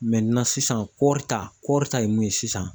Mɛtinan sisan kɔri ta kɔɔri ta ye mun ye sisan